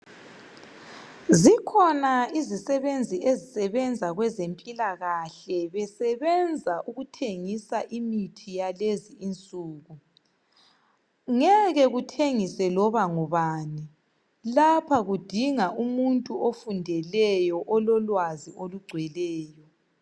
Zikhona izisebenzi ezisebenza kwezempilakahle besebenza ukuthengisa imithi yalezinsuku. Ngeke kuthengise loba ngubani lapha kudinga umuntu ofundeleyo ololwazi olugcweleyo.